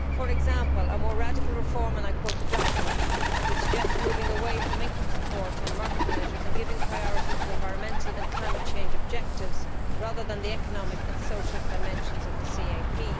For example, a more radical reform', and I quote the document would suggest moving away from income support and market measures and giving priority to environmental and climate change objectives rather than the economic and social dimensions of the CAP'.